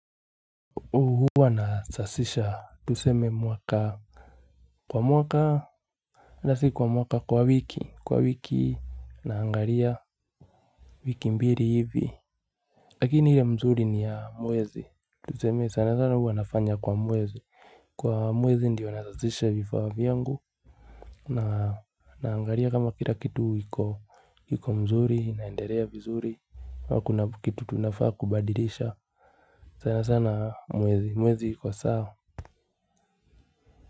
Huu hua nasasisha tuseme mwaka kwa mwaka ata si kwa mwaka kwa wiki kwa wiki naangaria. Wiki mbili hivi. Lakini ile mzuri ni ya mwezi. Tuseme sana sana hua nafanya kwa mwezi. Kwa mwezi ndiyo nasasisha vifaa vyangu. Na naangaria kama kila kitu hiko hiko mzuri inaenderea vizuri hakuna kitu tunafaa kubadilisha. Sana sana mwezi mwezi hiko saa.